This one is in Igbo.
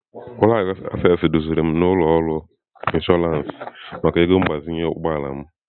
Ụlọ akụ Access duziri m n'ụlọ ọrụ Inshọransị maka ego mgbazinye ụgbọ ala m.